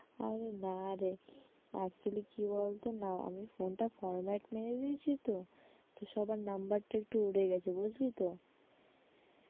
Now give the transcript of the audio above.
আরে না রে actually কি বলতো আমি phone টা format মেরে দিয়েছি তো, তো সবার number টা একটু উড়ে গেছে বুঝলি তো?